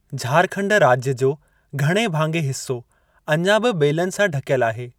झारखंड राज्य जो घणे भाङे हिस्सो अञा बि ॿेलनि सां ढकियल आहे।